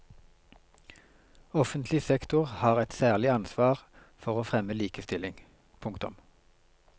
Offentlig sektor har et særlig ansvar for å fremme likestilling. punktum